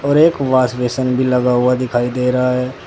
और एक wash basin भी लगा हुआ दिखाई दे रहा है।